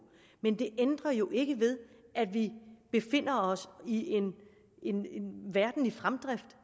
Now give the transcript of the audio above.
men det ændrer jo ikke ved at vi befinder os i en verden i fremdrift